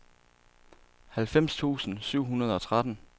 halvfems tusind syv hundrede og tretten